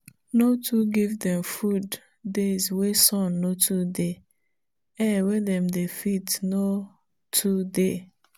divide feeding time into two e dey make the them grow well.